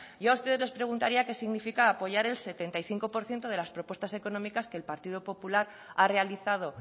yo a ustedes les preguntaría qué significa apoyar el setenta y cinco por ciento de las propuestas económicas que el partido popular ha realizado